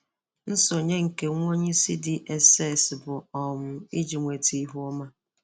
Nsọnye nke nwa onye isi DSS bụ um iji nweta ihu ọma.